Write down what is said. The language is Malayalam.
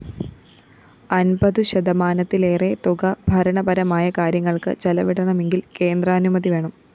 അന്‍പതു ശതമാനത്തിലേറെ തുക ഭരണപരമായ കാര്യങ്ങള്‍ക്ക് ചെലവിടണമെങ്കില്‍ കേന്ദ്രാനുമതി വേണം